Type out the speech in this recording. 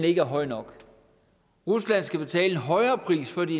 ikke er høj nok rusland skal betale en højere pris før de